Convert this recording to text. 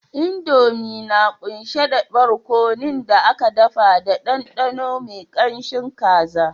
Indomie na kunshe da barkonon da aka daka da ɗanɗano mai kanshin kaji